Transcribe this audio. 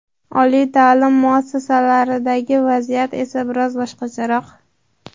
Oliy ta’lim muassasalaridagi vaziyat esa biroz boshqacharoq.